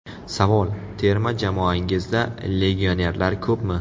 Savol: Terma jamoangizda legionerlar ko‘pmi?